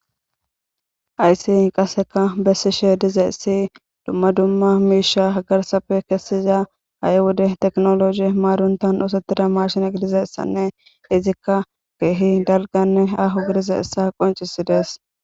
ayssi qaseka bessishe dizaessi dumma dumma miisha hagarsafe kessiza a7i wode teknologi maaruntan usottida marshine g dizassanne izikka keehi dalganne ahu gidiza issa qoncisidees